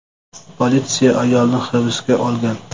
Politsiya ayolni hibsga olgan.